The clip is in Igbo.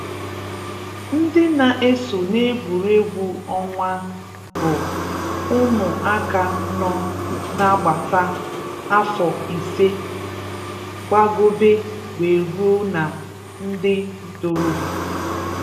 Ndị na-eso n’egwuregwu ọnwa bụ ụmụ aka nọ n’agbata afọ ise gbagobe wee ruo na ndị ntorobia